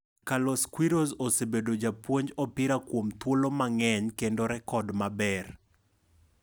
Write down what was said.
Carlos Queiroz osebedo japuonj opira kuom thuolo mang'eny kendo rekod maber.